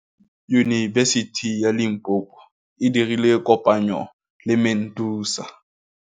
Yunibesiti ya Limpopo e dirile kopanyô le MEDUNSA.